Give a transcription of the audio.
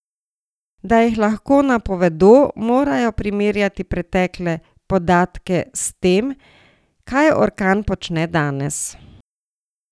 Da jih lahko napovedo, morajo primerjati pretekle podatke s tem, kaj orkan počne danes.